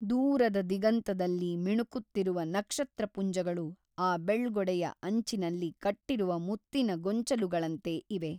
ದೂರದ ದಿಗಂತದಲ್ಲಿ ಮಿಣುಕುತ್ತಿರುವ ನಕ್ಷತ್ರಪುಂಜಗಳು ಆ ಬೆಳ್ಗೊಡೆಯ ಅಂಚಿನಲ್ಲಿ ಕಟ್ಟಿರುವ ಮುತ್ತಿನ ಗೊಂಚಲುಗಳಂತೆ ಇವೆ.